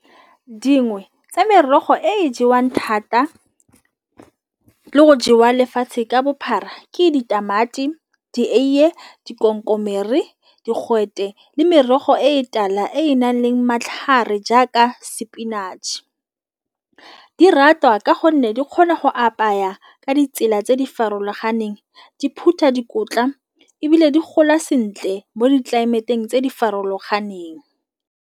Dingwe tsa merogo e jewang thata le go jewa lefatshe ka bophara ke ditamati, dieie dikomkomere di digwete le merogo e tala e e nang le matlhare jaaka spinach. Di ratwa ka gonne di kgona go apaya ka ditsela tse di farologaneng di phutha dikotla ebile di gola sentle mo ditlelaemeteng tse di farologaneng.